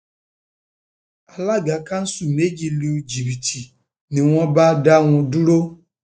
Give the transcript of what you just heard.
alága kanṣu méjì lu jìbìtì jìbìtì ni wọn bá dá wọn dúró